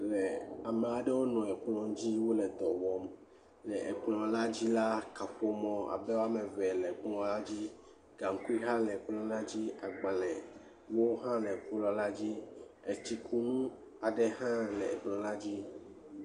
Le ame aɖewo nɔ kplɔ dzi wole dɔ wɔm, le kplɔ la dzi la, abe kaƒomɔ woame eve le kplɔa dzi, gaŋkui hã le kplɔa dzi, agbalẽwo hã le kplɔ la dzi, etsikunu aɖe hã le kplɔ la dzi.